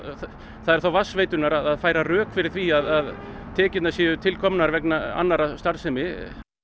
það er þá vatnsveitunnar að færa rök fyrir því að tekjurnar séu tilkomnar vegna annarrar starfsemi